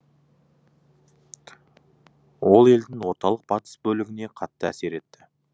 ол елдің орталық батыс бөлігіне қатты әсер етті